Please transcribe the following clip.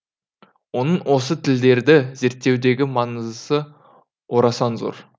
оның осы тілдерді зерттеудегі маңыздысы орасан зор